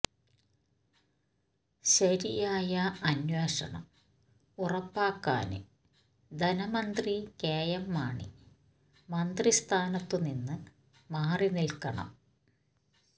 ശരിയായ അന്വേഷണം ഉറപ്പാക്കാന് ധനമന്ത്രി കെ എം മാണി മന്ത്രി സ്ഥാനത്തുനിന്ന് മാറി നില്ക്കണം